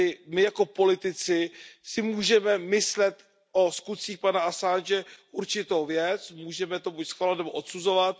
My jako politici si můžeme myslet o skutcích pana Assange určitou věc, můžeme to buď schvalovat, nebo odsuzovat.